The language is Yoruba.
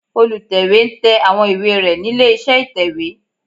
Olùtẹ̀wé ń tẹ àwọn ìwé rẹ̀ nílé iṣẹ́ ìtẹ̀wé